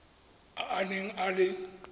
a a neng a le